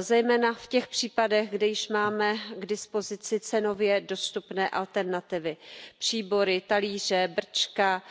Zejména v těch případech, když máme k dispozici cenově dostupné alternativy příbory, talíře, brčka,